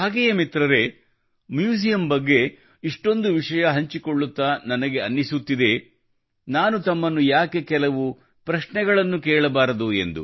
ಹಾಗೆಯೇ ಮಿತ್ರರೇ ಮ್ಯೂಜಿಯಮ್ ಬಗ್ಗೆ ಇಷ್ಟೊಂದು ವಿಷಯ ಹಂಚಿಕೊಳ್ಳುತ್ತಾ ನನಗೆ ಅನಿಸುತ್ತಿದೆ ನಾನು ತಮ್ಮನ್ನು ಯಾಕೆ ಕೆಲವು ಪ್ರಶ್ನೆ ಕೇಳಬಾರದು